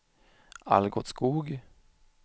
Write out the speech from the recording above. Algot Skoog